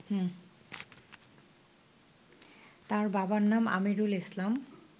তার বাবার নাম আমিরুল ইসলাম